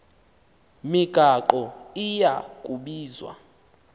migaqo iya kubizwa